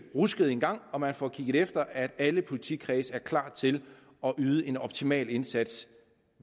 rusket en gang og man får kigget efter at alle politikredse er klar til at yde en optimal indsats